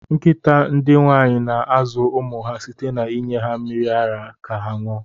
Nkịta ndị nwaanyị na-azụ ụmụ ha site na inye ha mmiri ara ka ha ṅụọ.